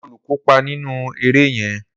Olú kópa nínú eré yẹn